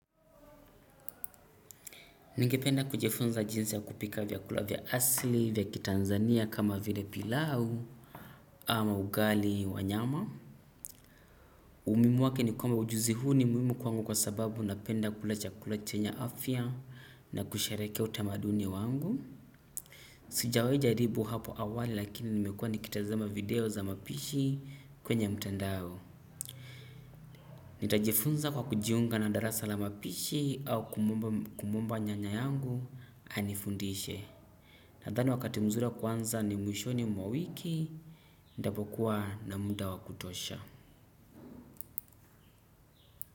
Ningependa kujifunza jinsi ya kupika vyakula vya asili vya ki Tanzania kama vile pilau ama ugali wa nyama. Umuhimu wake ni kwamba ujuzi huu ni muhimu kwangu kwa sababu napenda kula chakula chenye afya na kusherekea utamaduni wangu. Sijawaja jaribu hapo awali lakini nimekuwa nikitazama video za mapishi kwenye mtandao. Nitajifunza kwa kujiunga na darasa la mapishi au kumwomba nyanya yangu anifundishe. Nadhani wakati mzuri wa kuanza ni mwishoni mwa wiki. Ndio ntakapokuwa na muda wa kutosha.